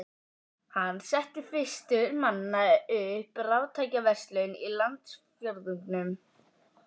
Hann setti fyrstur manna upp raftækjaverslun í landsfjórðungnum.